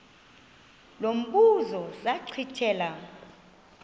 lo mbuzo zachithela